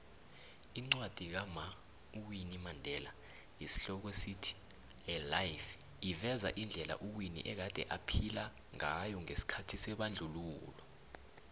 iincwadi kama uwinnui mandela yesi hloko sithi a life iveza indela uwinnie egade aphila ngayongesikhathi sebandlululo